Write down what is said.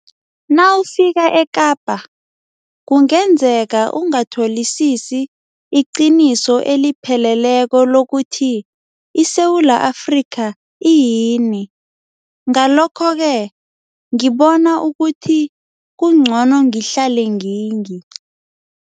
Nawufika eKapa, kungenzeka ungatholisisi iqiniso elipheleleko lokuthi iSewula Afrika iyini, ngalokho-ke ngibona ukuthi kungcono ngihlale ngingi